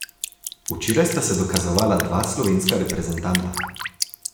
Včeraj sta se dokazovala dva slovenska reprezentanta.